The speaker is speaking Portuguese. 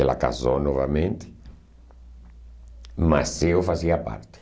Ela casou novamente, mas eu fazia parte.